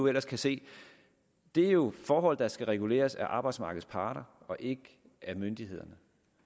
ellers kan se det er jo forhold der skal reguleres af arbejdsmarkedets parter og ikke af myndighederne